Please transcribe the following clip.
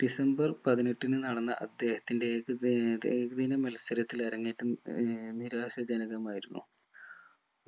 December പതിനെട്ടിനു നടന്ന അദ്ദേഹത്തിന്റെ ഏക ഏർ ഏകദിന മത്സരത്തിൽ അരങ്ങേറ്റം ഏർ നിരാശാജനകമായിരുന്നു